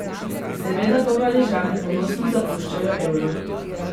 Seveda pa Valižani ponosno zapuščajo euro.